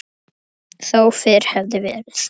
Þó fyrr hefði verið.